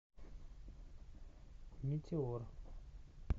метеор